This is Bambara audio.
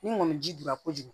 Ni ŋɔni ji dunya kojugu